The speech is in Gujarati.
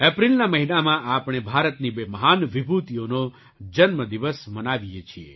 એપ્રિલના મહિનામાં આપણે ભારતની બે મહાન વિભૂતિઓનો જન્મદિવસ મનાવીએ છીએ